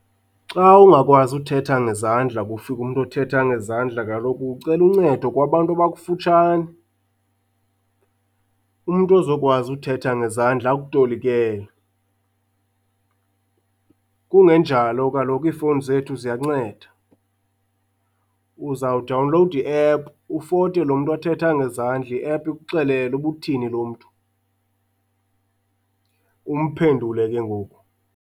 Xa ungakwazi uthetha ngezandla kufike umntu othetha ngezandla kaloku ucela uncedo kwabantu abakufutshane, umntu ozokwazi uthetha ngezandla akutolikele. Kungenjalo kaloku iifowuni zethu ziyanceda. Uzawudawunlowuda i-app, ufote lo mntu athetha ngenzandla i-app ikuxelele uba uthini lo mntu. Umphendule ke ngoku.